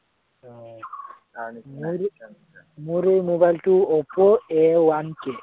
মোৰো mobile টো Oppo A one three